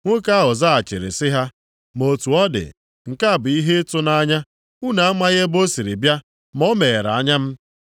Nwoke ahụ zaghachiri sị ha, “Ma otu ọ dị, nke a bụ ihe ịtụnanya! Unu amaghị ebe o sịrị bịa ma o meghere anya m.